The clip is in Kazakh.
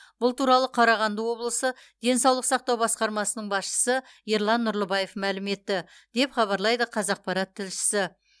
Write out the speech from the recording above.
бұл туралы қарағанды облысы денсаулық сақтау басқармасының басшысы ерлан нұрлыбаев мәлім етті деп хабарлайды қазақпарат тілшісі